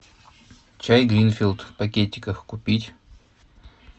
чай гринфилд в пакетиках купить